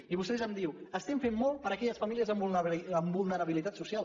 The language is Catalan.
i vostè em diu estem fent molt per a aquelles famílies amb vulnerabilitat social